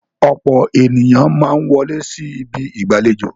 Ọ̀pọ̀ ènìyàn máa ń wọlé sí ibi ìgbàlejò.